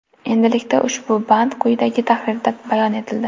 Endilikda ushbu band quyidagi tahrirda bayon etildi.